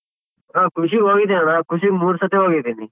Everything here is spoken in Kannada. ಆ ಖುಷಿಗ್ ಹೋಗಿದ್ದೆನಣ್ಣ ಖುಷಿಗ್ ಮೂರ್ ಸತಿ ಹೋಗಿದೀನಿ.